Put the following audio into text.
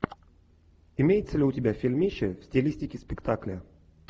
имеется ли у тебя фильмище в стилистике спектакля